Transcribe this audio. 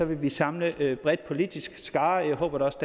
vil vi samle en bred politisk skare og jeg håber da også